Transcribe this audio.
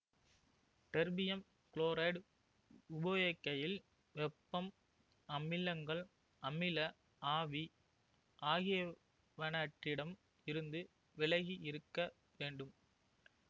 terbium chloride உபயோகிக்கையில் வெப்பம் அமிலங்கள் அமில ஆவி ஆகியனவற்றிடம் இருந்து விலகியிருக்க வேண்டும்